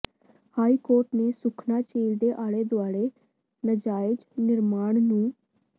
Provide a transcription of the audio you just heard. high court ਨੇ ਸੁਖਨਾ ਝੀਲ ਦੇ ਆਲੇ ਦੁਆਲੇ ਨਾਜਾਇਜ਼ ਨਿਰਮਾਣ ਨੂੰ